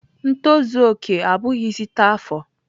ntozu okè abụghị site afọ!